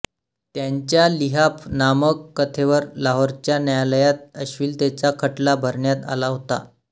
त्यांच्या लिहाफ नामक कथेवर लाहोरच्या न्यायालयात अश्लीलतेचा खटला भरण्यात आला होता